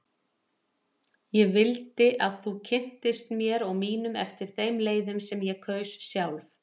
Ég vildi að þú kynntist mér og mínum eftir þeim leiðum sem ég kaus sjálf.